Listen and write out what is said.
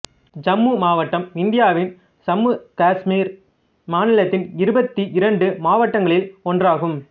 ஜம்மு மாவட்டம் இந்தியாவின் சம்மு காசுமீர் மாநிலத்தின் இருபத்தி இரண்டு மாவட்டங்களில் ஒன்றாகும்